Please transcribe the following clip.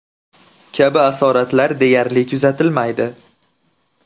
kabi asoratlar deyarli kuzatilmaydi.